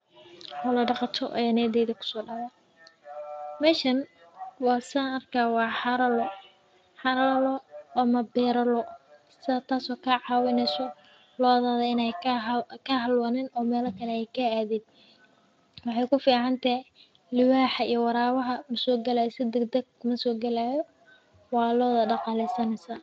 Xola daqato aya niyadeyda kuso daceysa lodha In ee ka halawin waxee ku ficantahay liwaxa iyo warabaha maso galaya lodha waa daqaleysaneysa sas waye faidada ee ledhahay.